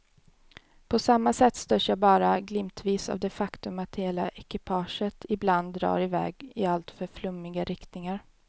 På samma sätt störs jag bara glimtvis av det faktum att hela ekipaget ibland drar i väg i alltför flummiga riktningar.